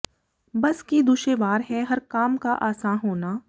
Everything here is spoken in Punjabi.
ਬੱਸ ਕਿ ਦੁਸ਼ੇਵਾਰ ਹੈ ਹਰ ਕਾਮ ਕਾ ਆਸਾਂ ਹੋਨਾ